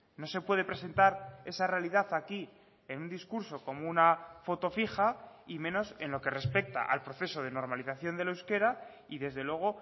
no se puede presentar esa realidad aquí en un discurso como una foto fija y menos en lo que respecta al proceso de normalización del euskera y desde luego